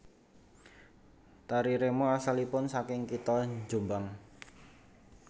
Tari remo asalipun saking kitha Jombang